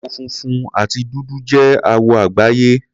Àwọ̀ funfun àti dúdú jẹ́ àwọ̀ àgbáyé.